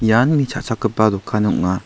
ian mi cha·chakgipa dokan ong·a.